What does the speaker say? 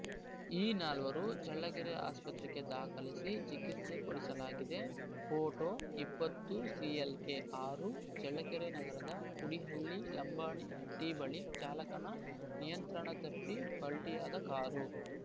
ಈ ನಾಲ್ವರು ಚಳ್ಳಕೆರೆ ಆಸ್ಪತ್ರೆಗೆ ದಾಖಲಿಸಿ ಚಿಕಿತ್ಸೆ ಕೊಡಿಸಲಾಗಿದೆ ಪೋಟೋ ಇಪ್ಪತ್ತು ಸಿಎಲ್‌ಕೆ ಆರು ಚಳ್ಳಕೆರೆ ನಗರದ ಕುಡಿಹಳ್ಳಿ ಲಂಬಾಣಿ ಹಟ್ಟಿಬಳಿ ಚಾಲಕನ ನಿಯಂತ್ರಣ ತಪ್ಪಿ ಪಲ್ಟಿಯಾದ ಕಾರು